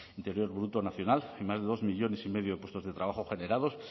interior bruto nacional y más de dos millónes y medio de puestos de trabajo generados